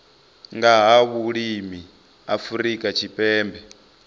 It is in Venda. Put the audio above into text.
nga ha vhulimi afrika tshipembe